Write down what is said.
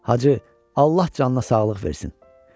Hacı, Allah canına sağlıq versin.